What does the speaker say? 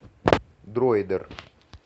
дроидер